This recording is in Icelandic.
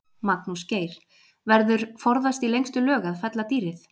Magnús Geir: Verður forðast í lengstu lög að fella dýrið?